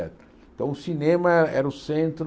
então o cinema era o centro...